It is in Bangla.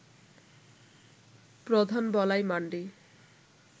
প্রধান বলাই মান্ডি